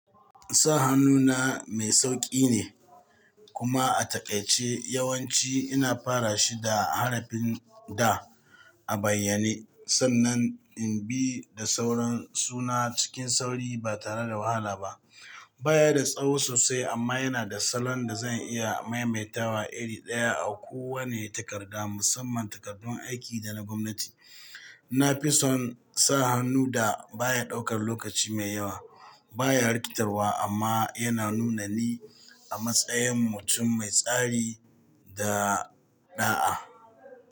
Sa hannu na mai sauƙi ne, kuma a taƙaice, yawanci ina fara shi da harafin “Da” a bayyane. San nan in bi da sauran suna cikin sauri ba tare da wahala ba. Baya da tsawo sosai amma yana da salon da zan iya maimaita wa iri ɗaya a kowane takarda, musamman takardun aiki da na gwamnati. Na fi son sa hannu da baya ɗaukar lokaci mai yawa, baya rikitarwa amma yana nuna ni a matsayin mutum mai tsari da ɗa'a.